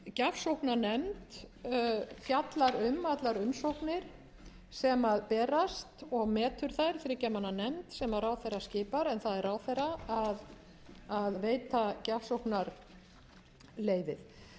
gjafsókna nefnd fjallar um allar umsóknir sem berast og metur þær þriggja manna nefnd sem ráðherra skipar en það er ráðherra að veita